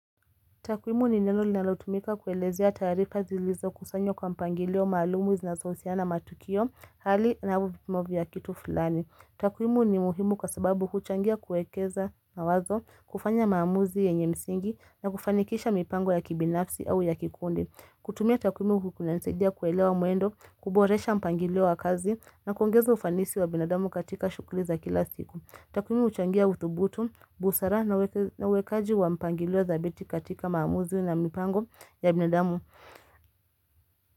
Takwimu ni neno linalotumika kuelezea taarifa zilizo kusanywa kwa mpangilio maalumu zinazo husiana matukio hali na au vipimo vya kitu fulani. Takwimu ni muhimu kwa sababu huchangia kuekeza mawazo, kufanya maamuzi yenye msingi na kufanikisha mipango ya kibinafsi au ya kikundi. Kutumia takwimu huku kunanisaidia kuelewa mwendo, kuboresha mpangilio wa kazi na kuongeza ufanisi wa binadamu katika shughuli za kila siku. Takwimu huchangia uthubutu, busara na wekaji wa mpangilio dhabiti katika maamuzi na mipango ya binadamu.